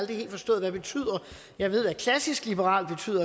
helt forstået hvad betyder jeg ved hvad klassisk liberal betyder